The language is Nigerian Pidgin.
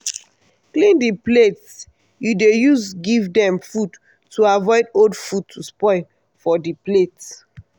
clean di plate you dey use give dem food to avoid old food to spoil for di plate.